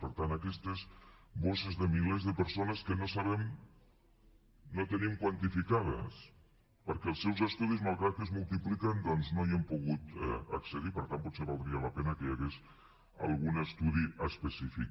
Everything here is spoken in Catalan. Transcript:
per tant aquestes bosses de milers de persones que no sabem no tenim quantificades perquè als seus estudis malgrat que es multipliquen doncs no hi hem pogut accedir per tant potser valdria la pena que hi hagués algun estudi específic